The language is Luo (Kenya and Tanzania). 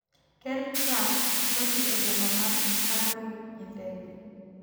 ker trump nodhi e boma ma Hanoi gi ndege